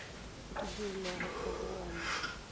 o di dirilego ka bowena